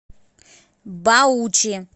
баучи